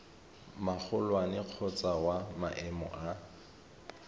magolwane kgotsa wa maemo a